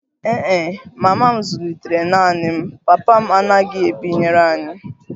Ee e, mama m zụlitere m naanị m, papa m anaghị ebinyere anyị